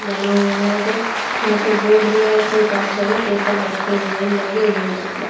बना हुआ है जो यहां पे बोर्ड भी है उसमें काफी सारे पेपर रखे हुए हैं लगे हुए हैं।